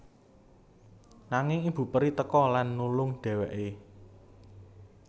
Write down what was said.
Nanging ibu peri teka lan nulung dhéwéké